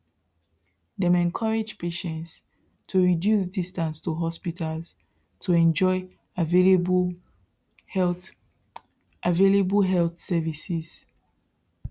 dem encourage patients to reduce distance to hospitals to enjoy available health available health services